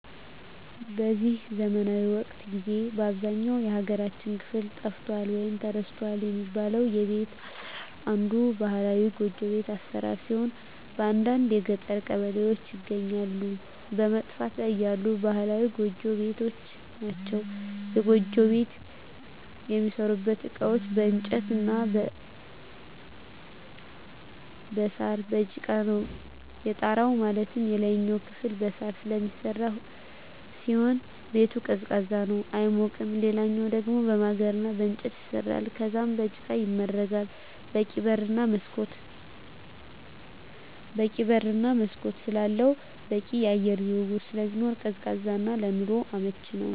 በዚህ ዘመናዊ ወቅት ጊዜ በአብዛኛው የሀገራችን ክፍል ጠፍቷል ወይም ተረስቷል የሚባለው የቤት አሰራር አንዱ ባህላዊ ጎጆ ቤት አሰራር ሲሆን በአንዳንድ የገጠር ቀበሌዎች ይገኛሉ በመጥፋት ላይ ያሉ ባህላዊ ጎጆ ቤቶች ናቸዉ። የጎጆ ቤት የሚሠሩበት እቃዎች በእንጨት እና በሳር፣ በጭቃ ነው። የጣራው ማለትም የላይኛው ክፍል በሳር ስለሚሰራ ሲሆን ቤቱ ቀዝቃዛ ነው አይሞቅም ሌላኛው ደሞ በማገር እና በእንጨት ይሰራል ከዛም በጭቃ ይመረጋል በቂ በር እና መስኮት ስላለው በቂ የአየር ዝውውር ስለሚኖር ቀዝቃዛ እና ለኑሮ አመቺ ነው።